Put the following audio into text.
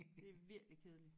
Det er virkelig kedeligt